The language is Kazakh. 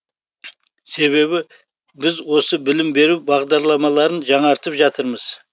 себебі біз осы білім беру бағдарламаларын жаңартып жатырмыз